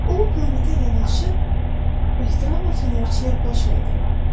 O bu planetə yanaşıb ehtiramla fənərçiyə baş əydi.